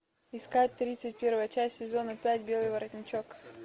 искать тридцать первая часть сезона пять белый воротничок